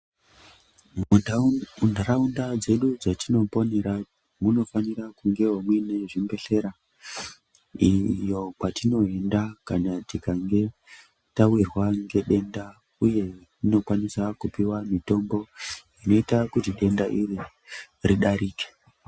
Mundau mundaraunda dzedu dzatinoponera munafanira kungewo muine zvimbedhlera iyo kwatinoenda kana tikange tawirwa ngedenda uye tinokwanisa kupiwa mitombo inoita kuti denda iri ridarike.